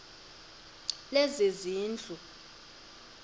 lezezindlu